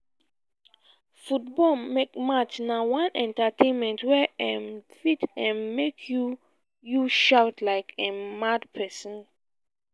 football match na one entertainment wey um fit um make you you shout like um mad person